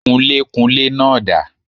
Kunlékunlé náà dà